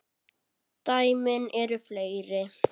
Dæmin eru fleiri.